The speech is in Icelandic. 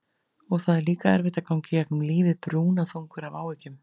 Og það er líka erfitt að ganga í gegnum lífið brúnaþungur af áhyggjum.